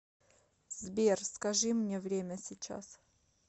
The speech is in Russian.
сбер скажи мне время сейчас